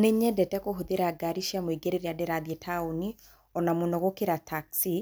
Nĩ nyendete kũhũthĩra ngari cia mũingĩ rĩrĩa ndĩrathiĩ taũni, ona mũno gũkĩra taxi,